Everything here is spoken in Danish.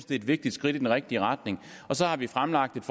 det er et vigtigt skridt i den rigtige retning og så har vi fremlagt